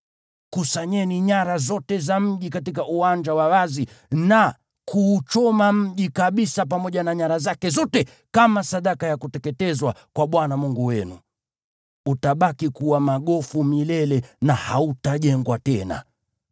Kusanyeni nyara zote za mji katika uwanja wa wazi na kuuchoma mji kabisa pamoja na nyara zake zote kama sadaka ya kuteketezwa kwa Bwana Mungu wenu. Utabaki kuwa magofu milele na hautajengwa tena.